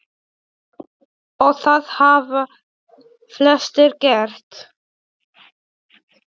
Og það hafa flestir gert.